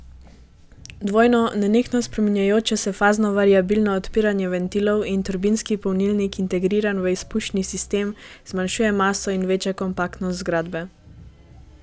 Dvojno, nenehno spreminjajoče se fazno variabilno odpiranje ventilov in turbinski polnilnik integriran v izpušni sistem, zmanjšuje maso in veča kompaktnost zgradbe.